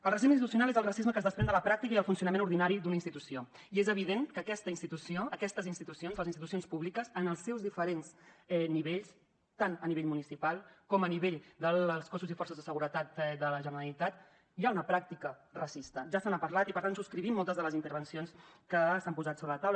el racisme institucional és el racisme que es desprèn de la pràctica i el funcionament ordinari d’una institució i és evident que en aquesta institució en aquestes institucions les institucions públiques en els seus diferents nivells tant a nivell municipal com a nivell dels cossos i forces de seguretat de la generalitat hi ha una pràctica racista ja se n’ha parlat i per tant subscrivim moltes de les intervencions que s’han posat sobre la taula